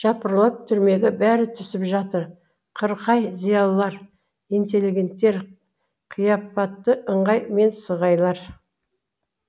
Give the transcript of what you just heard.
жапырлап түрмеге бәрі түсіп жатыр қырқай зиялылар интеллигенттер қияпатты ыңғай мен сығайлар